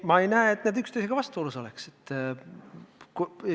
Ma ei näe, et need üksteisega vastuolus oleks.